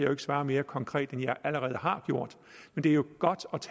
jo ikke svare mere konkret end jeg allerede har gjort men det er jo godt